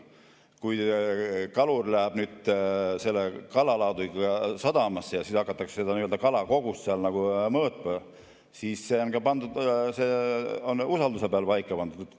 Kui kalur nüüd tuleb kalalaadungiga sadamasse ja siis hakatakse seda kalakogust mõõtma, siis see on usalduse põhjal paika pandud.